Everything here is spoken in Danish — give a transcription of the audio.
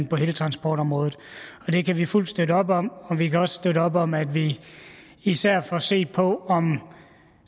på hele transportområdet det kan vi fuldt støtte op om og vi kan også støtte op om at vi især får set på om